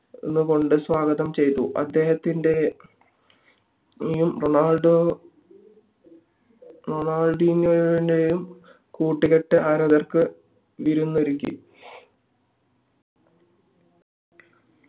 നിന്ന് കൊണ്ട് സ്വാഗതം ചയ്തു അദ്ദേഹത്തിന്റെയും റൊണാൾഡോ റൊണാൾഡിനോവിന്റെയും കൂട്ടുകെട്ട് ആരാധകർക്ക് വിരുന്നൊരുക്കി